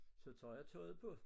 Så tager jeg tøjet på